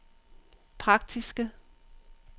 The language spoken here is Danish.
praktiske